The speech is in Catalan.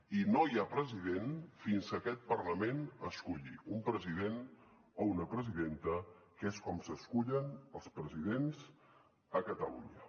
i no hi ha president fins que aquest parlament esculli un president o una presidenta que és com s’escullen els presidents a catalunya